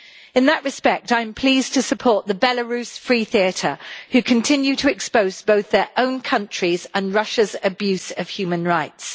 In that respect, I am pleased to support the Belarus Free Theatre, which continues to expose both their own country and Russia's abuse of human rights.